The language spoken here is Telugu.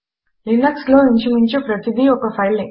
Linuxలినక్స్లో ఇంచుమించు ప్రతీదీ ఒక ఫైలే